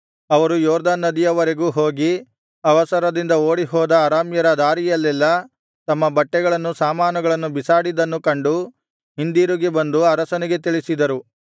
ಅವರು ಯೊರ್ದನ್ ನದಿಯವರೆಗೂ ಹೋಗಿ ಅವಸರದಿಂದ ಓಡಿಹೋದ ಅರಾಮ್ಯರು ದಾರಿಯಲ್ಲೆಲ್ಲಾ ತಮ್ಮ ಬಟ್ಟೆಗಳನ್ನು ಸಾಮಾನುಗಳನ್ನು ಬಿಸಾಡಿದ್ದನ್ನೂ ಕಂಡು ಹಿಂದಿರುಗಿ ಬಂದು ಅರಸನಿಗೆ ತಿಳಿಸಿದರು